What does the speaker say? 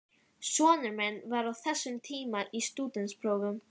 Sonur minn var á þessum tíma í stúdentsprófum.